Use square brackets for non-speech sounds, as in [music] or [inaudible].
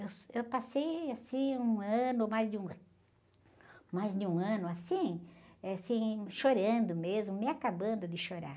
Eu, [unintelligible] eu passei, assim, um ano, mais de um, [unintelligible] mais de um ano, assim, chorando mesmo, me acabando de chorar.